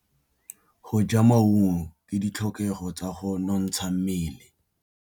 Go ja maungo ke ditlhokegô tsa go nontsha mmele.